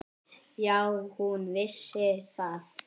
Já, hún vissi það.